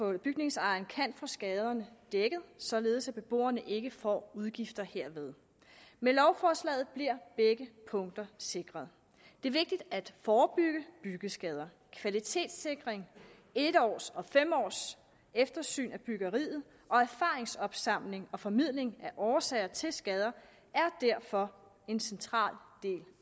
at bygningsejeren kan få skaderne dækket således at beboerne ikke får udgifter herved med lovforslaget bliver begge punkter sikret det er vigtigt at forebygge byggeskader kvalitetssikring en års eftersyn og fem års eftersyn af byggeriet og erfaringsopsamling og formidling af årsager til skader er derfor en central del